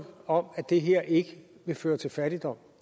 om at det her ikke vil føre til fattigdom